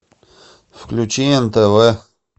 включи нтв